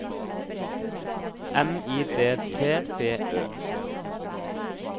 M I D T B Ø